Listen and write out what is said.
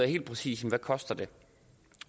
helt præcist koster at